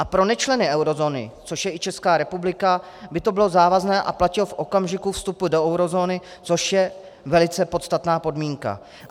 A pro nečleny eurozóny, což je i Česká republika, by to bylo závazné a platilo v okamžiku vstupu do eurozóny, což je velice podstatná podmínka.